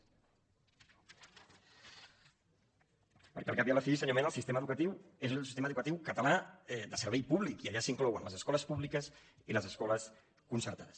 perquè al cap i a la fi senyor mena el sistema educatiu és el sistema educatiu català de servei públic i allà s’inclouen les escoles públiques i les escoles concertades